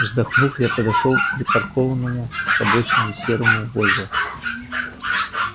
вздохнув я подошёл к припаркованному к обочине серому вольво